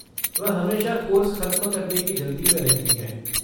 वह हमेशा कोर्स ख़त्म करने की जल्दी में रहती हैं।